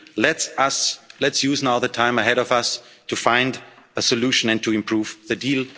solution. Let's use now the time ahead of us to find a solution and to improve